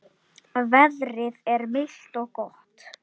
Veðrið er milt og gott.